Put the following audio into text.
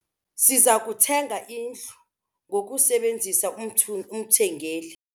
Siza kuthenga indlu ngokusebenzisa umthengeli.